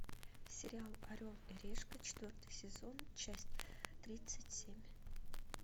сериал орел и решка четвертый сезон часть тридцать семь